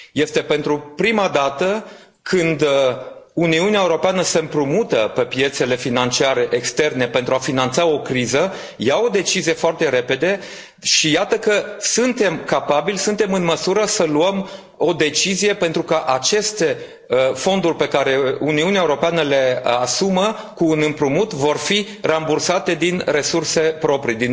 Este pentru prima dată când Uniunea Europeană se împrumută pe piețele financiare externe pentru a finanța o criză, ia o decizie foarte repede, și iată că suntem capabili, suntem în măsură să luăm o decizie pentru că aceste fonduri pe care Uniunea Europeană le asumă cu un împrumut vor fi rambursate din noi resurse proprii.